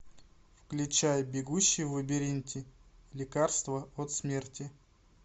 включай бегущий в лабиринте лекарство от смерти